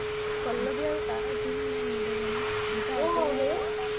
পল্লাবি আৰু তাৰ কিনো ইমান মিলে জানো দুটাই একে কাম